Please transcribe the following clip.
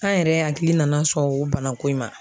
An yɛrɛ hakili nana sɔn o bana ko in ma.